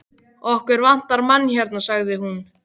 Okkur vantar mann hérna sagði hún.